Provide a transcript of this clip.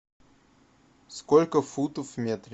сколько футов в метре